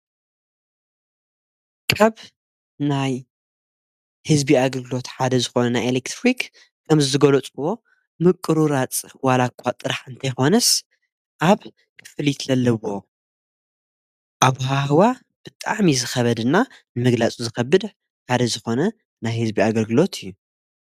ካብ ናይ ሕዝቢ ኣገልግሎት ሓደ ዝኾነ ናይ ኤልክትሪክ ከምቲ ዝገለጽክዎ ምቁርራጽ ዋላኳ ጥራሕ እንተይኾነስ ኣብ ክፍሊትለለዎ ኣወሃህባ ብጣዓሚ ዝኸበድና ምግላጹ ዝኸብድ ሓደ ዝኾነ ናይ ህዝቢ ኣገልግሎት እዩ።